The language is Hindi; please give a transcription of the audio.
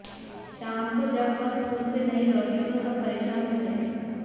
शाम को जब वह स्कूल से नहीं लौटी तो सब परेशान हो गए